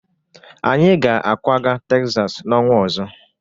Anyị ga-akwaga Tegzas n'ọnwa ọzọ.